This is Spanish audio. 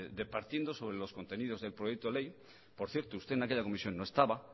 departiendo sobre los contenidos del proyecto de ley por cierto usted en aquella comisión no estaba